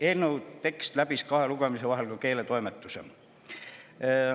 Eelnõu tekst läbis kahe lugemise vahel ka keeletoimetuse.